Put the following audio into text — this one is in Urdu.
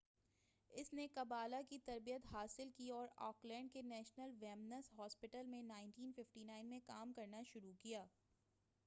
اس نے قبالہ کی تربیت حاصل کی اور آک لینڈ کے نیشنل ویمنس ہاسپیٹل میں 1959 میں کام کرنا شروع کیا